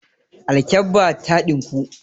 Alkabbata ta ɗinku.